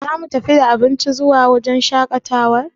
Za mu tafi da abinci zuwa wajen shaƙatawar?